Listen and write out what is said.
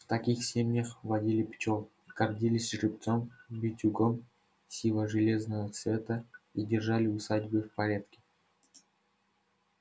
в таких семьях водили пчёл гордились жеребцом-битюгом сиво-железното цвета и держали усадьбы в порядке